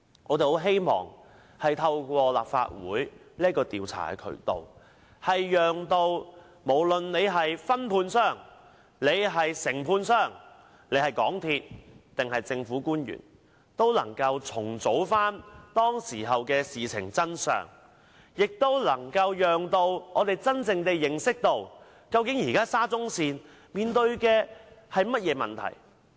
我很希望透過立法會的調查渠道，讓承建商、分判商、港鐵公司及政府官員重組事情的真相，使公眾真正認識到現時沙中線面對甚麼問題。